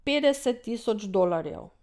Petdeset tisoč dolarjev.